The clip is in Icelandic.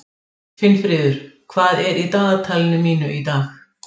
Finnfríður, hvað er í dagatalinu mínu í dag?